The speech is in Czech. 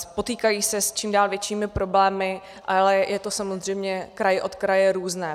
Potýkají se s čím dál většími problémy, ale je to samozřejmě kraj od kraje různé.